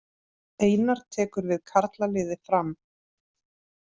Einar tekur við karlaliði Fram